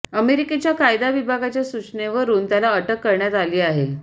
अमेरिकेच्या कायदा विभागाच्या सूचनेवरून त्याला अटक करण्यात आली आहे